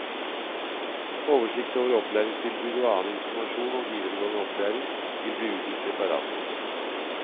Oversikt over opplæringstilbud og annen informasjon om videregående opplæring vil bli utgitt separat.